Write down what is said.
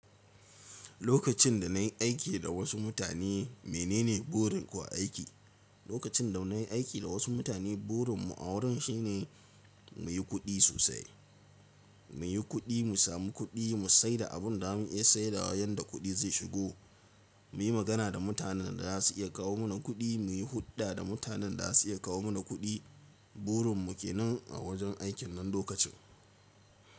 Lokacin da nayi aiki da wasu mutane menene burin ku a aiki? Lokacin da nayi aiki da wasu mutane burin mu a wurin shine muyi kuɗi sosai, muyi kuɗi, mu sami kuɗi, mu sai da abin da za mu iya saidawa yanda kuɗi zai shigo. Muyi magana da mutanen da za su iya kawo mana kuɗi, muyi hulɗa da mutanen da za su iya kawo mana kuɗi. Burin mu kenan a wajen aikin nan lokacin.